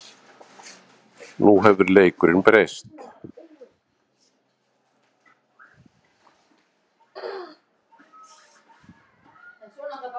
Nú hefur leikurinn breyst